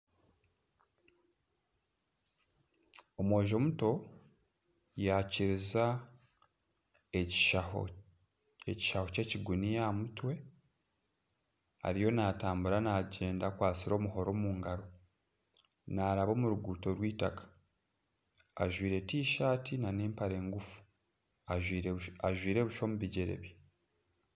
Omwojo muto yakiriza ekishaho ky'ekiguniya aaha mutwe ariyo naatambura naagyenda akwatsire omuhoro omu ngaaro naraaba omu ruguuto rwitaka ajwaire Tishati nana empare ngufu ajwaire busha omu bigyere bye